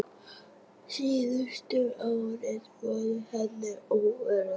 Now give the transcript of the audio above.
Síðustu árin voru henni örðug.